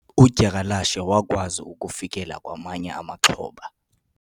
udyakalashe wazama ukufikelela kwamanye amaxhoba